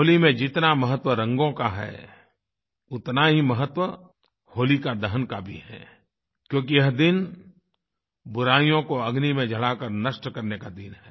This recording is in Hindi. होली में जितना महत्व रंगों का है उतना ही महत्व होलिका दहन का भी है क्योंकि यह दिन बुराइयों को अग्नि में जलाकर नष्ट करने का दिन है